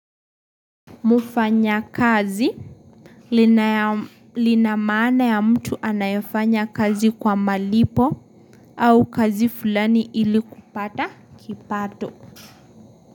Mufanya kazi Linamana ya mtu anayaeanya kazi kwa malipo au kazi fulani ili kupata kipato.